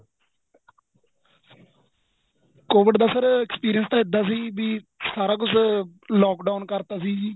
COVID ਦਾ sir experience ਇੱਦਾਂ ਸੀ ਵੀ ਸਾਰਾ ਕੁੱਝ lock down ਕਰਤਾ ਸੀ ਜੀ